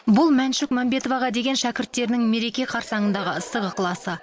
бұл мәншүк мәнбетоваға деген шәкірттерінің мереке қарсаңындағы ыстық ықыласы